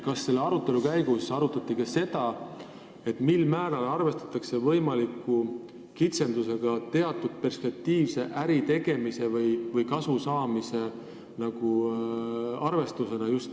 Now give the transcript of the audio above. Kas arutelu käigus arutati ka seda, mil määral arvestatakse võimaliku kitsendusega teatud perspektiivse äritegemise või kasusaamise mõttes?